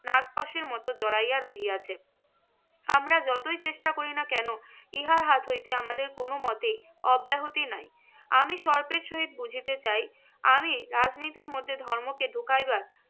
নাগপাশের মত জড়াইয়া রহিয়াছে। আমরা যতই চেষ্টা করি না কেন ইহার হাত হয়েছে আমাদের কোনমতে অব্যাহতি নাই। আমি সহিত বুঝিতে চাই আমি রাজনীতির মধ্যে ধর্মকে ঢুকাইবার